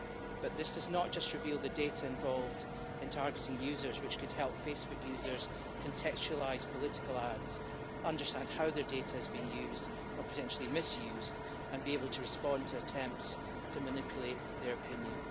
But this does not just reveal the data involved in targeting users, which could help Facebook users contextualise political ads, understand how their data has been used, or potentially misused, and be able to respond to attempts to manipulate their opinion.